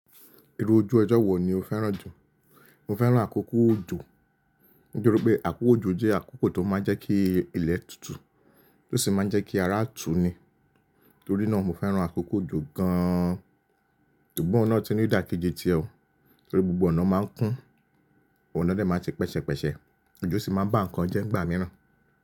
Irú ojú ọjọ́ wo ni o fẹ́ràn jù? Mo fẹ́ràn àkókò òjò. Nítori pé àkókò òjò jẹ́ àkókò tó máa ń jẹ́ kí ilẹ̀ tutù, tó sì máa ń jẹ́ kí ara tù ní. Nítorí náà mo fẹ́ràn àkókò òjò gaan. Ṣùgbọ́n ọ̀un tun ni idà keje ti ọ̀, torí gbogbo ọ̀nà máa ń kún, ọ̀nà dè máa ṣe pẹ̀ṣẹ̀pẹ̀ṣẹ̀, òjò sì máa bá nǹkan jẹ́ nigbà mírán.